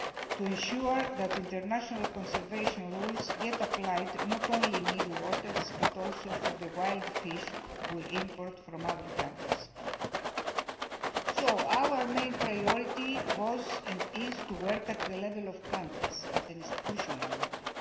to ensure that international conservation rules are applied not only in EU waters, but also to the wild fish we import from other countries. Our main priority was and is to work at the level of countries, at an institutional level.